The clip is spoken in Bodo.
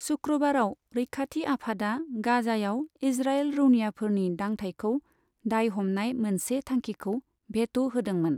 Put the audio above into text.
शुक्रबाराव रैखाति आफादा गाजायाव इज्राइल रौनियाफोरनि दांथाइखौ दायहमनाय मोनसे थांखिखौ भेट' होदोंमोन।